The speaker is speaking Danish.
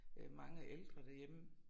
Øh mange ældre derhjemme